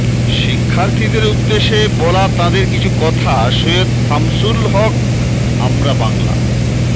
শিক্ষার্থীদের উদ্দেশে বলা তাঁদের কিছু কথা সৈয়দ শামসুল হকআমরা বাংলা